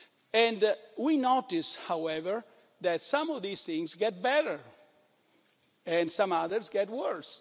system. And we notice, however, that some of these things get better and some others get